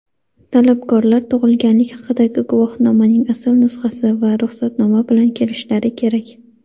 Talabgorlar tug‘ilganlik haqidagi guvohnomaning asl nusxasi va ruxsatnoma bilan kelishlari kerak.